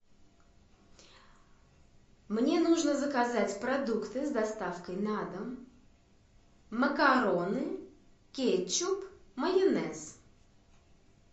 мне нужно заказать продукты с доставкой на дом макароны кетчуп майонез